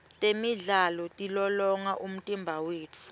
temidlalo tilolonga umtimba wetfu